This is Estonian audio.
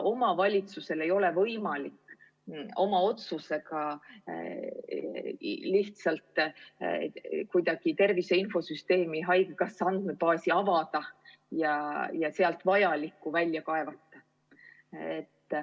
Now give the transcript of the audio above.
Omavalitsusel ei ole võimalik oma otsusega lihtsalt kuidagi tervise infosüsteemi või haigekassa andmebaasi avada ja sealt vajalikku välja kaevata.